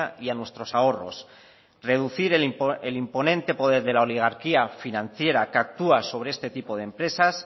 y a nuestros ahorros reducir el imponente poder de la oligarquía financiera que actúa sobre este tipo de empresas